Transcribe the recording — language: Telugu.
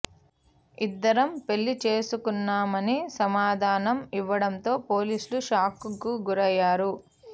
ఇద్దరం పెళ్లి చేసుకున్నామని సమాధానం ఇవ్వడంతో పోలీసులు షాక్ కు గురైనారు